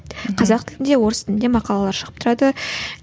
қазақ тілінде орыс тілінде мақалалар шығып тұрады